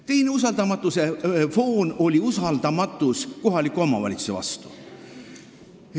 Teine usaldamatuse foon oli usaldamatus kohaliku omavalitsuse vastu.